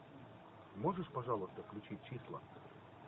можешь пожалуйста включить числа